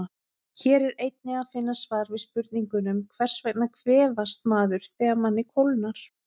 Hér er einnig að finna svar við spurningunum: Hvers vegna kvefast maður þegar manni kólnar?